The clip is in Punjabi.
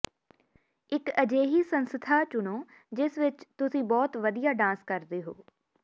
ਇਕ ਅਜਿਹੀ ਸੰਸਥਾ ਚੁਣੋ ਜਿਸ ਵਿਚ ਤੁਸੀਂ ਬਹੁਤ ਵਧੀਆ ਡਾਂਸ ਕਰਦੇ ਹੋ